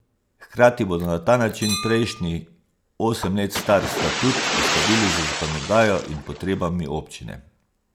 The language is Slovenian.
Hkrati bodo na ta način prejšnji, osem let star statut, uskladili z zakonodajo in potrebami občine.